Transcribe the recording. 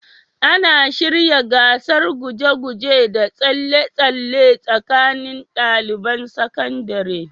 Ana shirya gasar guje-guje da tsalle-tsalle tsakanin ɗaliban sakandare?